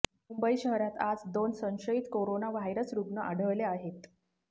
मुंबई शहरात आज दोन संशयित कोरोना व्हायरस रुग्ण आढळले आहेत